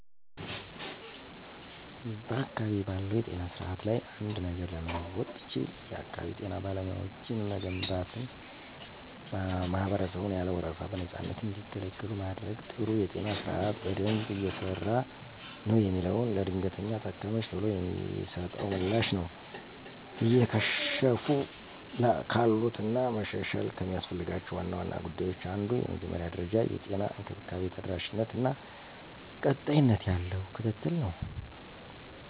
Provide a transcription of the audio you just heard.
*በአካባቢዬ ባለው የጤና ስርዓት ላይ አንድ ነገር ለመለወጥ ብችል፣ *የአካባቢ ጤና ጣቢያዎችን መገንባትና ማህበረሰቡን ያለ ወረፋ በነፃነት እንዲገለገሉ ማድረግ። *ጥሩ የጤና ስርዓት በደንብ እየሰራ ነው የምለው፦ ለድንገተኛ ታካሚወች ቶሎ የሚሰጠው ምላሽ ነው። *እየከሸፉ ካሉት እና መሻሻል ከሚያስፈልጋቸው ዋና ዋና ጉዳዮች አንዱ የመጀመሪያ ደረጃ የጤና እንክብካቤ ተደራሽነት እና ቀጣይነት ያለው ክትትል ነው።